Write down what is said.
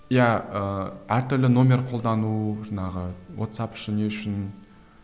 иә ііі әртүрлі нөмір қолдану жаңағы уатсап үшін не үшін